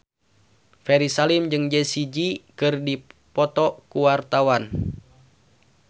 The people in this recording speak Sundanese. Ferry Salim jeung Jessie J keur dipoto ku wartawan